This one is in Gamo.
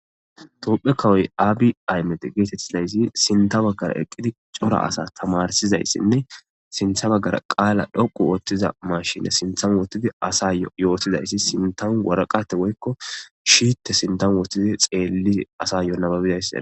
Tophe kawoy abiy ahimede getetezay sintan eqidi cora asa tamarisizayisine sinta bagara qala dhoqu otiza mashine sintan wotidi asyo yotizaysi sinta woraqate woyikko shite sintan wotidi xeli asayo nababiraysa.